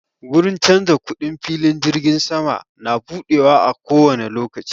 Gurin canza kuɗin filin jirgin sama na buɗewa a kowani lokaci